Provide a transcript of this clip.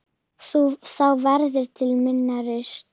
Þá verður til minna rusl.